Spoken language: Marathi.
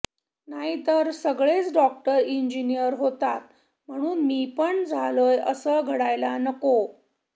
नाहीतर सगळेच डॉक्टर इंजिनिअर होतात म्हणून मी पण झालोय असे घडायला नको